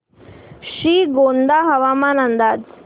श्रीगोंदा हवामान अंदाज